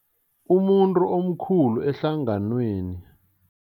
Umuntu omkhulu ehlanganweni.